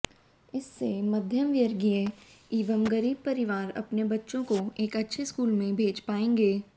इससे मध्यम वर्गीय एवं गरीब परिवार अपने बच्चों को एक अच्छे स्कूल में भेज पाएंगे